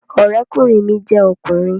Ọ̀rẹ́kùnrin mi jẹ́ ọkùnrin